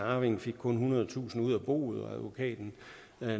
arvingen fik kun ethundredetusind kroner ud af boet og advokaten